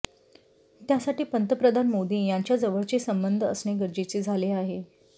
त्यासाठी पंतप्रधान मोदी यांच्याजवळचे संबंध असणे गरजेचे झाले आहे